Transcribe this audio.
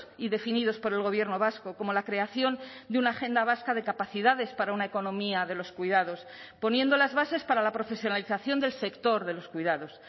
y definidos por el gobierno vasco como la creación de una agenda vasca de capacidades para una economía de los cuidados poniendo las bases para la profesionalización del sector de los cuidados